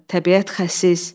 təbiət xəsis.